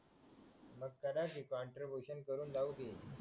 चला कि काँट्रीब्युशन करून जाऊ कि